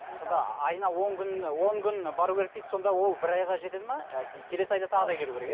сонда айына он күн он күн бару керек дейсіз сонда ол бір айға жетеді ме ы келесі айда тағы да келу керек иә